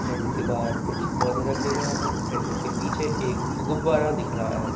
Tent के बाहर कुछ पौधे रखे गए हैं। टेंट के पीछे एक गुब्बारा दिख रहा है।